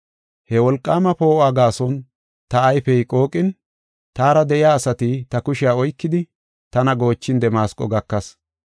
He wolqaama poo7uwa gaason ta ayfey qooqin, taara de7iya asati ta kushiya oykidi, tana goochin Damasqo gakas.